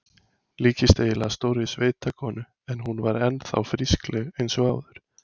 Líktist eiginlega stórri sveitakonu en hún var enn þá frískleg eins og áður.